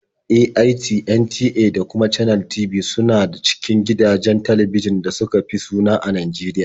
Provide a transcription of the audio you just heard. AIT, NTA da kuma Channels TV su na cikin gidajen talbijin ɗin da suka fi suna a Najeriya.